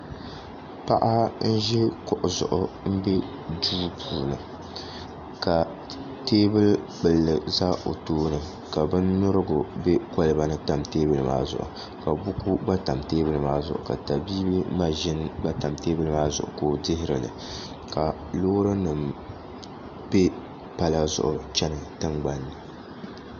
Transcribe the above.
Paɣa n-ʒi kuɣu m-be duu puuni ka teebuli kpulli za o tooni ka binnyurigu tam teebuli maa zuɣu ka buku gba tam teebuli maa zuɣu ka tabiibi maʒini gba tam teebuli zuɣu ka o dihiri li ka loorinima be pala zuɣu n-chani tiŋgbani ni